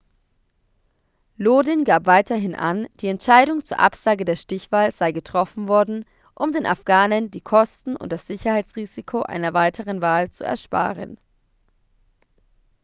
lodin gab weiterhin an die entscheidung zur absage der stichwahl sei getroffen worden um den afghanen die kosten und das sicherheitsrisiko einer weiteren wahl zu ersparen